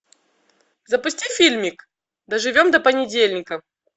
запусти фильмик доживем до понедельника